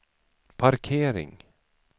parkering